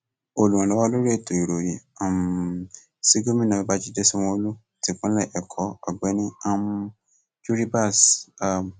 olùrànlọwọ lórí ètò ìròyìn um sí gómìnà babàjídé sanwóolu tipinlé ẹkọ ọgbẹni um juribas a